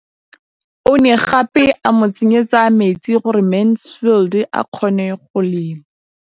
O ne gape a mo tsenyetsa metsi gore Mansfield a kgone go lema.